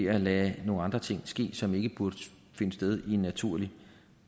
at lade nogle andre ting ske som ikke burde finde sted i en naturlig